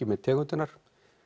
með tegundirnar